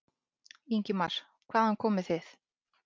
Ingimar: Hvaðan komið þið?